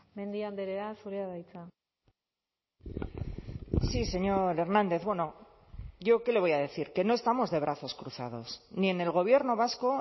mendia andrea zurea da hitza sí señor hernández bueno yo qué le voy a decir que no estamos de brazos cruzados ni en el gobierno vasco